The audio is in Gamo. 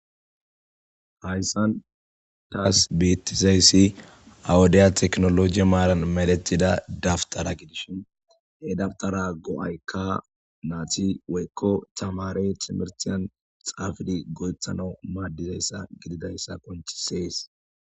hayssan taas beettizayssi awudiya teknoloji maalan meletida dabtara gidishin he daftara go7aykka naati woykko tamare timertiyan xaafidi go7ethana maaddizayssa gididayssa konchi sees